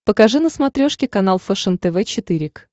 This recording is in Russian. покажи на смотрешке канал фэшен тв четыре к